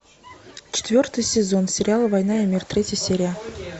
четвертый сезон сериала война и мир третья серия